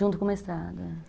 Junto com o mestrado, é.